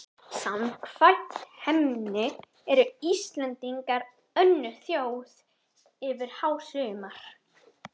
Samkvæmt henni eru Íslendingar önnur þjóð yfir hásumar